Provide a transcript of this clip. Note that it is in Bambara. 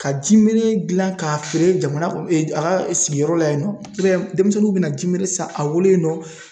Ka jinimere gilan k'a feere jamana a ka sigiyɔrɔ la yen nɔ, i b'a ye denmisɛnninw bɛna jinimere in san a bolo yen nɔ.